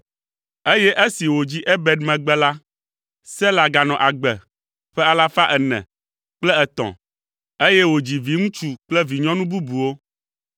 eye esi wòdzi Eber megbe la, Sela ganɔ agbe ƒe alafa ene kple etɔ̃ (403), eye wòdzi viŋutsu kple vinyɔnu bubuwo.